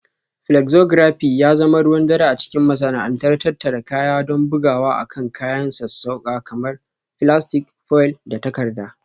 Flexography ya zama ruwan dare a cikin masana'antar tattara kaya don bugawa akan kayan sassauƙa kamar filastik, foil, da takarda